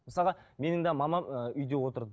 мысалға менің де мамам ыыы үйде отырды